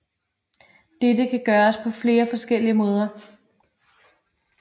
Dette kan gøres på flere forskellige måder